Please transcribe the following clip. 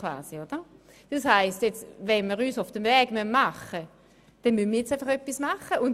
Wenn wir also einen Schritt weiter kommen wollen, müssen wir jetzt etwas dafür tun.